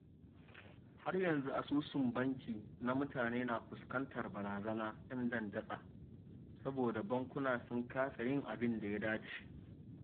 Har yanzu asusun banki na mutane na fuskantar barzanar 'yan dandatsa, saboda bankuna sun kasa yin abin da ya dace